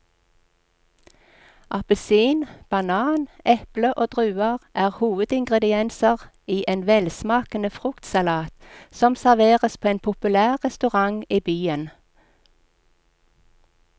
Appelsin, banan, eple og druer er hovedingredienser i en velsmakende fruktsalat som serveres på en populær restaurant i byen.